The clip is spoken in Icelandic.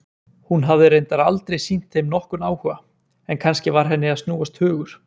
Hún hafði reyndar aldrei sýnt þeim nokkurn áhuga, en kannski var henni að snúast hugur?